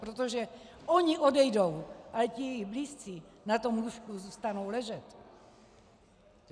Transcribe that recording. Protože oni odejdou, ale ti jejich blízcí na tom lůžku zůstanou ležet.